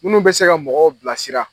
Minnu bɛ se ka mɔgɔw bilasira.